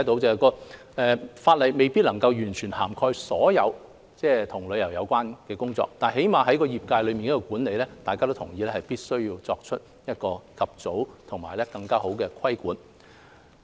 儘管法例未必能夠涵蓋所有與旅遊有關的工作，但至少在業界管理方面，大家都同意必須及早作出更好的規管。